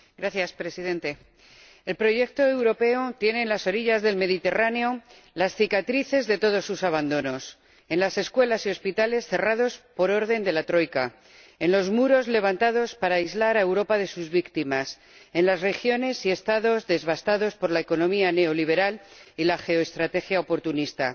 Señor Presidente, el proyecto europeo tiene en las orillas del Mediterráneo las cicatrices de todos sus abandonos en las escuelas y hospitales cerrados por orden de la Troika, en los muros levantados para aislar a Europa de sus víctimas, en las regiones y Estados devastados por la economía neoliberal y la geoestrategia oportunista.